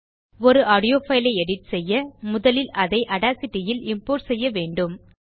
ஒரு audio file ஐ edit செய்ய முதலில் அதை ஆடாசிட்டி யில் இம்போர்ட் செய்ய வேண்டும்